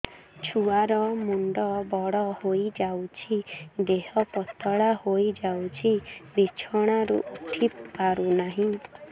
ଛୁଆ ର ମୁଣ୍ଡ ବଡ ହୋଇଯାଉଛି ଦେହ ପତଳା ହୋଇଯାଉଛି ବିଛଣାରୁ ଉଠି ପାରୁନାହିଁ